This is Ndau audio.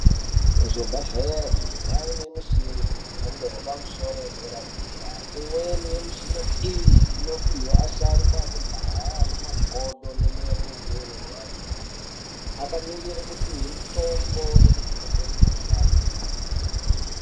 Kuzvibhedhleri kwaane mishina yemhando yepamusoro soro yedera dera. Inweni yemishina iyi inopiwa asharukwa ekudhaya anemakodo nemirenje inorwadza akamirire kupiwe mutombo nekuvheneke mukhuhlani.